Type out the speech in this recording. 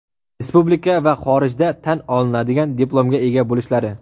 respublika va xorijda tan olinadigan diplomga ega bo‘lishlari;.